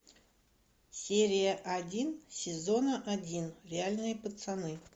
серия один сезона один реальные пацаны